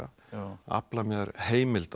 afla mér heimilda